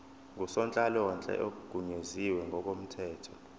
ngusonhlalonhle ogunyaziwe ngokomthetho